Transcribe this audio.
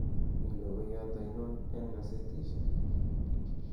mi logoyot ainon en gasetisiek